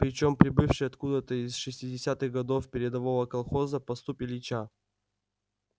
причём прибывший откуда-то из шестидесятых годов передового колхоза поступь ильича